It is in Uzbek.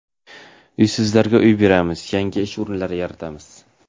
Uysizlarga uy beramiz, yangi ish o‘rinlari yaratamiz.